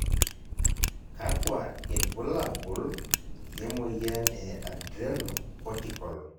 kakua irbulabol le moyian e Adrenocortical?